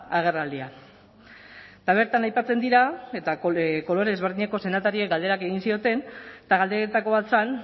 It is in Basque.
agerraldia eta bertan aipatzen dira eta kolore ezberdineko senatariek galderak egin zioten eta galderetako bat zen